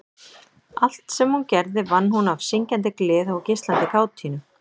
Allt sem hún gerði vann hún af syngjandi gleði og geislandi kátínu.